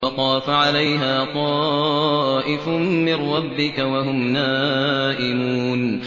فَطَافَ عَلَيْهَا طَائِفٌ مِّن رَّبِّكَ وَهُمْ نَائِمُونَ